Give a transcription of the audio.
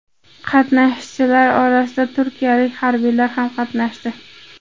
Qatnashchilar orasida turkiyalik harbiylar ham qatnashdi.